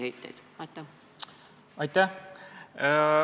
Aitäh!